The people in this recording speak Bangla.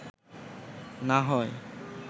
না হয়